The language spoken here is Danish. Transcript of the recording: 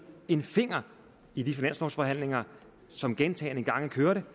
en finger i de finanslovsforhandlinger som gentagne gange kørte